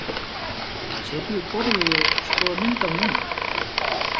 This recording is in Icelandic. Hann situr við borðið og skoðar mynd af mömmu.